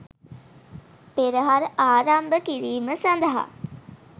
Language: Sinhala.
පෙරහර ආරම්භ කිරීම සඳහා